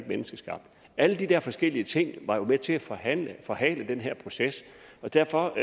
menneskeskabte alle de der forskellige ting var jo med til at forhale forhale den her proces og derfor